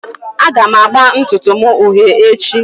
Aga m agba ntutu m uhie echi